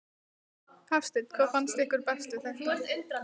Hafsteinn: Hvað finnst ykkur best við þetta?